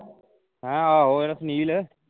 ਹੈਂ ਆਹੋ ਜਿਹੜਾ ਸੁਨੀਲ